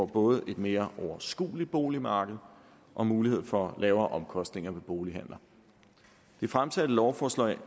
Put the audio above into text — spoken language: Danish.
både får et mere overskueligt boligmarked og mulighed for lavere omkostninger ved bolighandler det fremsatte lovforslag